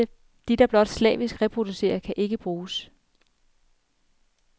De, der blot slavisk reproducerer kan ikke bruges.